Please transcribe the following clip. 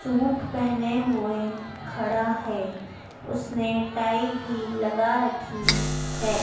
Suit पहने हुए खड़ा है उसने टाइ भी लगा रखी है।